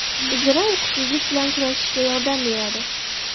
Zira uyqusizlik bilan kurashishga yordam beradi.